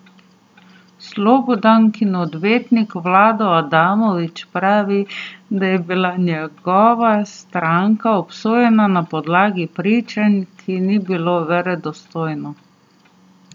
Slobodankin odvetnik Vlado Adamović pravi, da je bila njegova stranka obsojena na podlagi pričanja, ki ni bilo verodostojno.